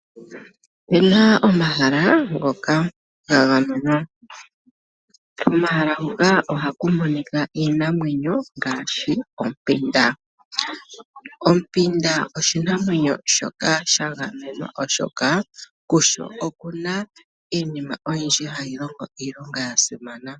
Opena omahala ngoka ga gamenwa. Komahala hoka ohaku monika iinamwenyo ngaashi ompinda. Ompinda oshinamwenyo shoka sha gamenwa oshoka kusho okuna iinima oyindji hayi longo iilonga ya simana.